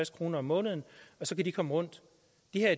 kroner om måneden og så kan de komme rundt